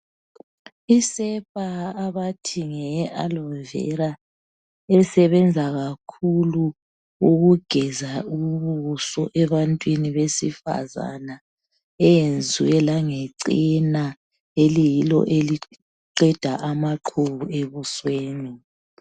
Isepa abathi ngeyeAloe vera esebenza kakhulu ukugeza ubuso ebantwini besifazana eyenzwe langechena eliyilo eliqeda amaqhubu ebusweni.